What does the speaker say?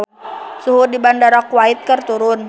Suhu di Bandara Kuwait keur turun